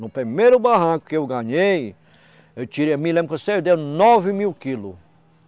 No primeiro barranco que eu ganhei, eu tirei, me lembro que eu nove mil quilos.